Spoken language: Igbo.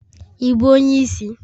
Ị bụ onye isi?